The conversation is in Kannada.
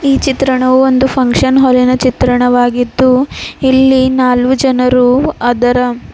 ಈ ಚಿತ್ರಣವು ಒಂದು ಫುನ್ಕ್ಷನ್ ಹಾಲಿನ ಚಿತ್ರವಾಗಿದ್ದು ಇಲ್ಲಿ ನಾಲ್ವು ಜನರು ಅದರ--